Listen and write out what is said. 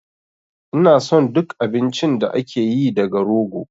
Ina son duk abincin da ake yi daga rogo